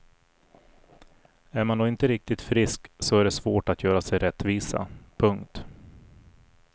Är man då inte riktigt frisk så är det svårt att göra sig rättvisa. punkt